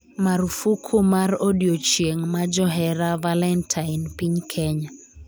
Marufuku mar odiochieng; ma johera 'valentine' piny Kenya